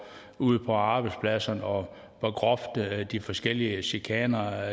ude på arbejdspladserne og hvor grove de forskellige chikaner